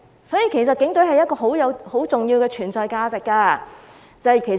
所以警隊有很重要的存在價值。